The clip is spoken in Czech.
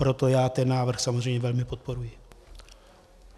Proto já ten návrh samozřejmě velmi podporuji.